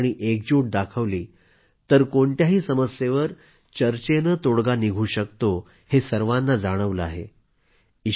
शांती आणि एकजूटता दाखवली तर कोणत्याही समस्येवर चर्चेने तोडगा निघू शकतो हे सर्वांना जाणवले आहे